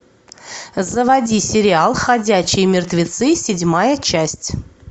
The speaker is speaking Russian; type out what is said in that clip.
заводи сериал ходячие мертвецы седьмая часть